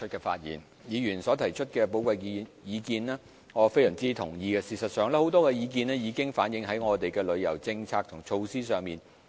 對於議員所提出的寶貴意見，我非常同意，而事實上很多意見已經反映在我們的旅遊政策及措施上。